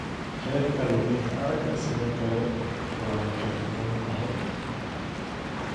Heerka luminta aragga sidoo kale way kala duwan tahay.